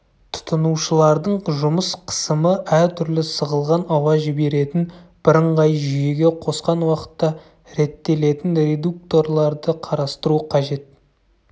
тұтынушылардың жұмыс қысымы әртүрлі сығылған ауа жіберетін бірыңғай жүйеге қосқан уақытта реттелетін редукторларды қарастыру қажет